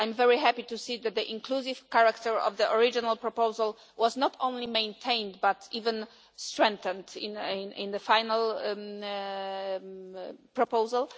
I am very happy to see that the inclusive character of the original proposal was not only maintained but even strengthened in the final proposal.